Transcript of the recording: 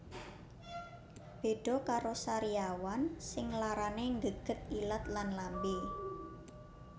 Beda karo sariawan sing larane nggeget ilat lan lambe